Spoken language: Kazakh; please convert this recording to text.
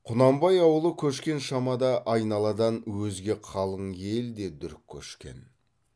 құнанбай ауылы көшкен шамада айналадан өзге қалың ел де дүрк көшкен